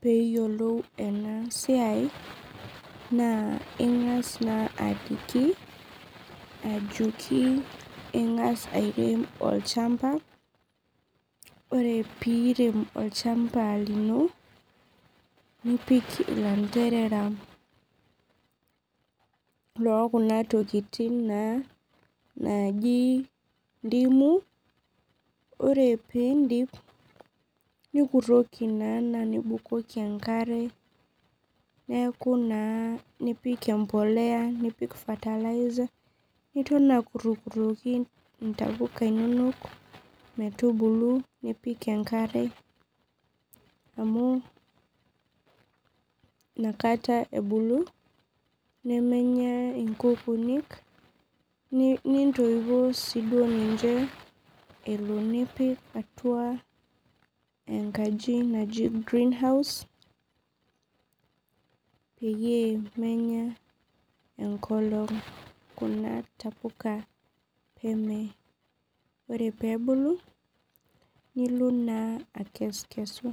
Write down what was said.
peyiolou enasiai na ingas na aliki ajoki ingas airem olchamba ore pirem olchamba limo nipik ilanderera okuna tokitin naji ndimu ore pindip nikutoki ashu nibukoki enkare neaku naa nipik empollea nipik niton akutoli ntapuka inonok nipik enkare amu nakata ebulu nemenya nkukuni nintoipoo ninche amu inakata enkaji naji greenhouse peyie menyaa enkolong kuna tapuka ore pebulu nilo na akesukesu.